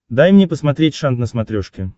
дай мне посмотреть шант на смотрешке